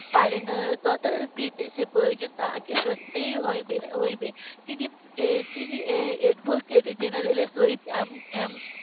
পারে না তথাপি সে প্রয়োজন তার কি সত্যি হইবে তিনি তিনি advocate general এর সহিত